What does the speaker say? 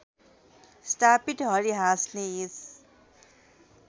स्थापित हरिहाँसले यस